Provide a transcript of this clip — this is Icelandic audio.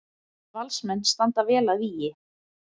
Valsmenn standa vel að vígi